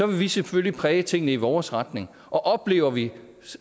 vil vi selvfølgelig præge tingene i vores retning og oplever vi